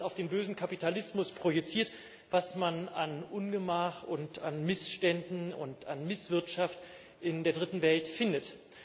Da wird alles auf den bösen Kapitalismus projiziert, was man an Ungemach und an Missständen und an Misswirtschaft in der Dritten Welt findet.